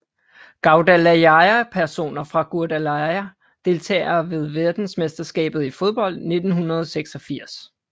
Guadalajara Personer fra Guadalajara Deltagere ved verdensmesterskabet i fodbold 1986